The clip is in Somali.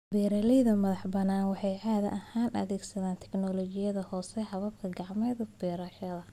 Beeralayda madaxa-banaan waxay caadi ahaan adeegsadaan tignoolajiyada hoose, habab gacmeed oo beerashada.